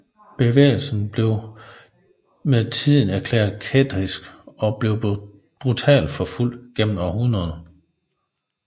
Bevægelsen blev med tiden erklæret kættersk og blev brutalt forfulgt gennem århundreder